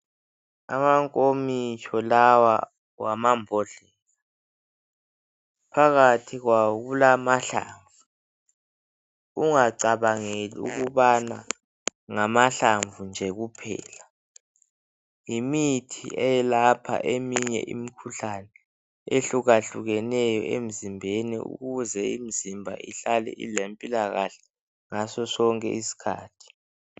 Amankokitsho lawa, ngamambodlela. Phakathi kwawo kulamahlamvu. Ungacabangi ukubathi ngamahlamvu kuphela. Yimithi eyelapha eminye imikhuhlane, ehlukahlukeneyo emzimbeni. Ukuze imizimba ihlale ilempilakahle ngaso sonke isikhathi.